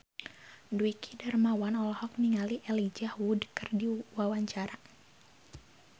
Dwiki Darmawan olohok ningali Elijah Wood keur diwawancara